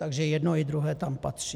Takže jedno i druhé tam patří.